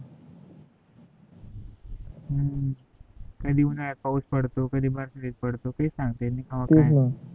हु कधी उन्हाळ्यात पावूस पडतो कडी बरसातीत पडतो काह्ही सांगता येत नाही